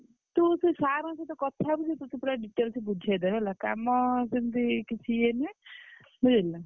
ତୁ ସେ sir ଙ୍କ ସହ କଥା ହବୁ ସେ ତତେ ପୁରା details ରେ ବୁଝେଇଦେବେ ହେଲା କାମ ସେମିତି କିଛି ଇଏ ନାହି ବୁଝିଲୁନା।